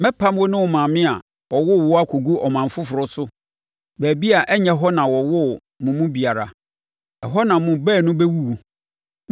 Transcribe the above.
Mɛpam wo ne wo maame a ɔwoo wo akɔgu ɔman foforɔ so, baabi a ɛnyɛ hɔ na wɔwoo mo mu biara, ɛhɔ na mo baanu bɛwuwu.